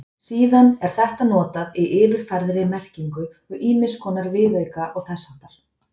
Síðan er þetta notað í yfirfærðri merkingu um ýmiss konar viðauka og þess háttar.